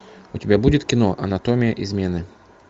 у тебя будет кино анатомия измены